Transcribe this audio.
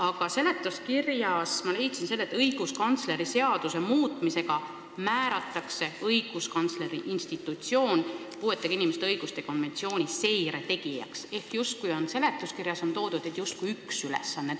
Aga seletuskirjast ma leidsin, et õiguskantsleri seaduse muutmisega määratakse õiguskantsleri institutsioon puuetega inimeste õiguste konventsiooni seire tegijaks, ehk seletuskirjas on toodud, justkui oleks üks ülesanne.